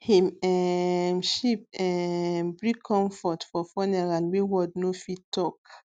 him um sheep um bring comfort for funeral wey word no fit talk